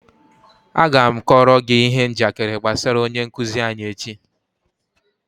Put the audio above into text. Aga m kọọrọ gi ihe njakịrị gbasara onye nkuzi anyi echi